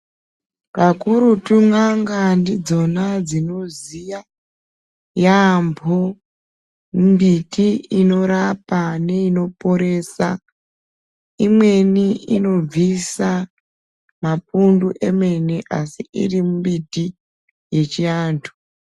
Pakurutu n'anga dzidzona dzinoziya yaambo mbiti inorapa neinoporesa. Imweni inobvisa mapundu emene asi iri mbiti yechiantu.